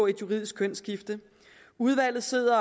et juridisk kønsskifte udvalget sidder